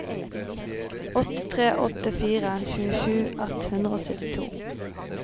åtte tre åtte fire tjuesju ett hundre og syttito